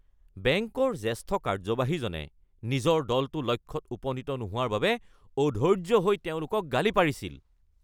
বেংকৰ জ্যেষ্ঠ কাৰ্যবাহীজনে নিজৰ দলটো লক্ষ্যত উপনীত নোহোৱাৰ বাবে অধৈৰ্য হৈ তেওঁলোকক গালি পাৰিছিল।